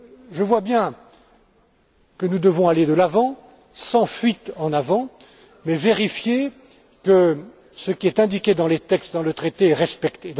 Je vois bien que nous devons aller de l'avant, sans fuite en avant, mais vérifier que ce qui est indiqué dans les textes, dans le traité, est respecté.